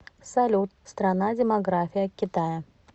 салют страна демография китая